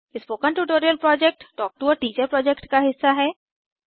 spoken tutorial project talk to a teacher project का हिस्सा है